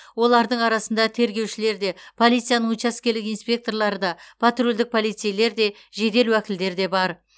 олардың арасында тергеушілер де полицияның учаскелік инспекторлары да патрульдік полицейлер де жедел уәкілдер де бар